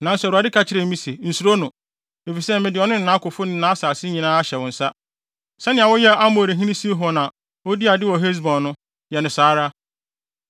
Nanso Awurade ka kyerɛɛ me se, “Nsuro no, efisɛ mede ɔno ne nʼakofo ne nʼasase nyinaa ahyɛ wo nsa. Sɛnea woyɛɛ Amorihene Sihon a odii ade wɔ Hesbon dii no, yɛ no saa ara.”